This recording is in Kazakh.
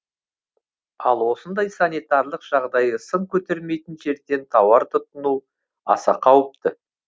ал осындай санитарлық жағдайы сын көтермейтін жерден тауар тұтыну аса қауіпті